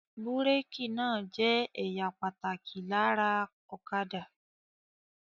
Búrékì náà jẹ́ ẹ̀ya pàtàkì lára ọ̀kadà.